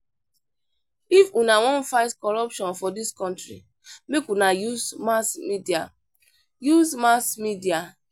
If una wan fight corruption for dis country make una use mass media. use mass media.